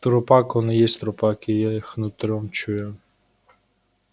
трупак он и есть трупак я их нутром чую